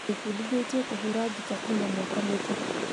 Ndĩbundithĩtie kũhũra ngita kuma mwaka mũthiru